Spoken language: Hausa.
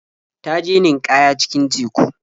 Ta je ninƙaya cikin teku.